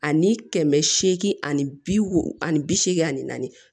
Ani kɛmɛ seegin ani bi wo ani bi seegin ani naani